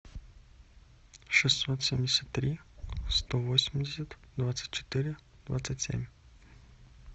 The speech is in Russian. шестьсот семьдесят три сто восемьдесят двадцать четыре двадцать семь